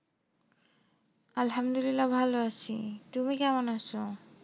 আলহামদুলিল্লাহ ভালো আছি, তুমি কেমন আছো?